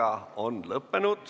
Istungi lõpp kell 10.08.